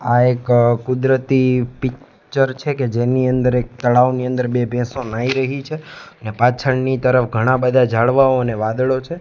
આ એક કુદરતી પિક્ચર છે કે જેની અંદર એક તળાવની અંદર બે ભેંસો નાઈ રહી છે ને પાછળની તરફ ઘણા બધા ઝાડવાઓ ને વાદળો છે.